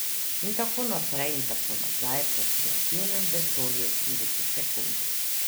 In tako naprej in tako nazaj po kreativnem vesolju tridesetih sekund ...